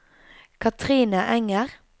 Kathrine Enger